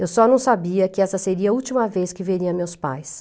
Eu só não sabia que essa seria a última vez que veria meus pais.